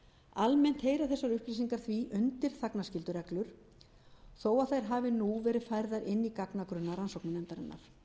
þessar upplýsingar því undir þagnarskyldureglur þó að þær hafi nú verið færðar inn í gagnagrunna rannsóknarnefndarinnar